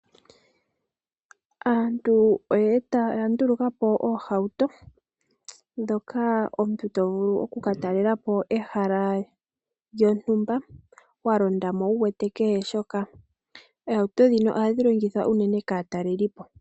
Aantu oya ndulukapo oohawuto ndhoka omuntu tovulu oku katalelapo nadho ehala lyontumba wa londamo wu wete kehe shoka . oohauto ndhino ohadhi longithwa unene kaatalelipo.